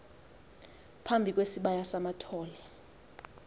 phambi kwesibaya samathole